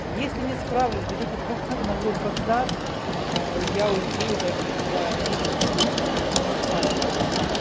если не справлюсь дадите ногой под зад я уйду и даже я обиды никакой не буду не справилась